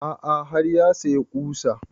A'a har ya saya ƙusa